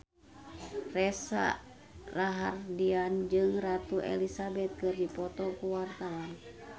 Reza Rahardian jeung Ratu Elizabeth keur dipoto ku wartawan